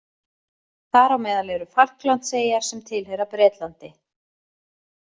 Þar á meðal eru Falklandseyjar sem tilheyra Bretlandi.